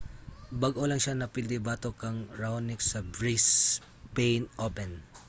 bag-o lang siya napildi batok kang raonic sa brisbane open